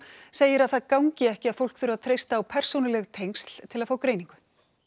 segir að það gangi ekki að fólk þurfi að treysta á persónuleg tengsl til að fá greiningu